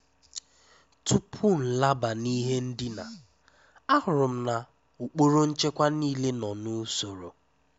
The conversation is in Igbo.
Tupú nlábá ná ìhé ndíná, àhụ́rụ́ m ná ùkpóró nchékwà níilé nọ́ n’ùsóró.